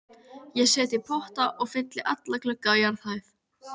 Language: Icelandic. Ég set í potta og fylli alla glugga á jarðhæð.